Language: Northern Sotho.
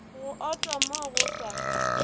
go ota mo go sa